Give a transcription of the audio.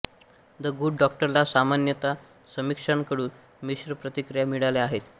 the good डॉक्टरला सामान्यत समीक्षकांकडून मिश्र प्रतिक्रिया मिळाल्या आहेत